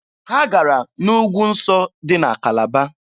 Ha gara n'ugwu nsọ dị na Kalaba.